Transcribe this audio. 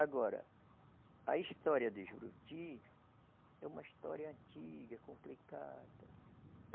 Agora, a história de Juruti é uma história antiga, complicada.